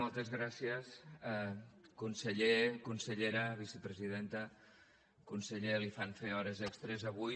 moltes gràcies conseller consellera vicepresidenta conseller li fan fer hores extres avui